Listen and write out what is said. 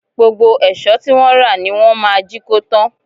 Gbogbo èṣọ́ tí wọ́n rà ni wọ́n máa jí kó tán